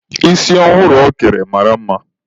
Isi ọhụrụ ọ kere mara mma.